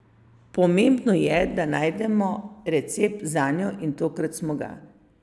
Pomembno je, da najdemo recept zanjo in tokrat smo ga.